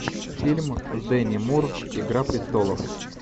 фильм с дени мур игра престолов